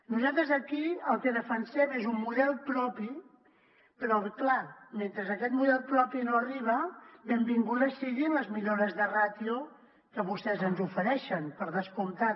nosaltres aquí el que defensem és un model propi però clar mentre aquest model propi no arriba benvingudes siguin les millores de ràtio que vostès ens ofereixen per descomptat